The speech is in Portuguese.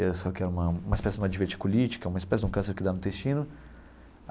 Isso que é uma espécie de uma diverticulite, que é uma espécie de um câncer que dá no intestino.